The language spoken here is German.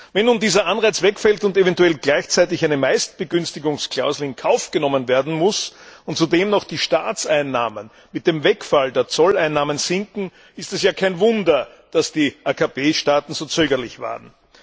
Wenn nun dieser Anreiz wegfällt und gleichzeitig eine Meistbegünstigungsklausel in Kauf genommen werden muss und zudem noch die Staatseinnahmen mit dem Wegfall der Zolleinnahmen sinken, ist es ja kein Wunder, dass die AKP Staaten so zögerlich waren.